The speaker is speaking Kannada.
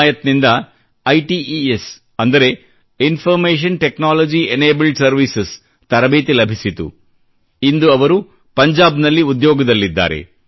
ಹಿಮಾಯತ್ ನಿಂದ ITES CAzÀgÉ information technology enabled services ತರಬೇತಿ ಲಭಿಸಿತು ಮತ್ತು ಇಂದು ಅವರು ಪಂಜಾಬ್ನಲ್ಲಿ ಉದ್ಯೋಗದಲ್ಲಿದ್ದಾರೆ